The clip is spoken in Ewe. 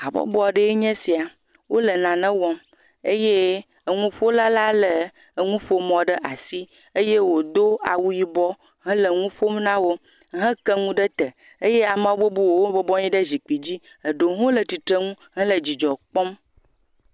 Habɔbɔ aɖee nye esia, wole nane wɔm eye enuƒola la lé enuƒomɔ ɖe asi eye wòdo awu yibɔ hele nu ƒom na wo heke nu ɖe te eye ame bubuwo bɔbɔ nɔ anyi ɖe zikpui dzi, eɖewo hã le tsitre nu hele dzidzɔ kpɔm.